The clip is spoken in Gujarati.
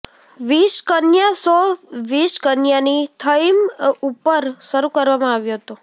વિષકન્યા શો વિષકન્યાની થઈમ ઉપર શરૂ કરવામાં આવ્યો હતો